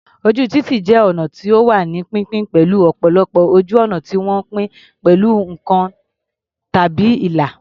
Ojú títì jẹ́ ọnà tó wà ní pínpín, pẹ̀lú ọ̀pọ̀lọpọ̀ ojú ọ̀nà tí wọ́n pín pẹ̀lú nǹkan tàbí ìlà.